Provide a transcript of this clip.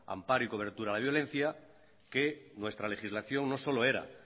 amparo y cobertura a la violencia que nuestra legislación no solo era